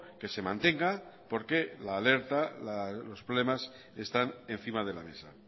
que se mantenga porque la alerta los problemas están encima de la mesa